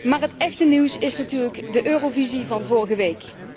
Maar het echte nieuws is natuurlijk de eurovisie van vorige week.